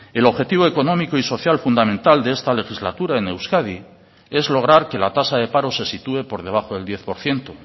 el objetivo económico y social fundamental de esta legislatura en euskadi es lograr que la tasa de paro se sitúe por debajo del diez por ciento